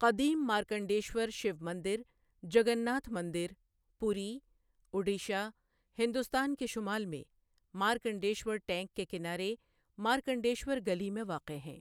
قدیم مارکنڈیشور شیو مندر، جگناتھ مندر، پوری، اڈیشہ، ہندوستان کے شمال میں، مارکنڈیشور ٹینک کے کنارے مارکنڈیشور گلی میں واقع ہے۔